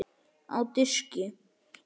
Á diski.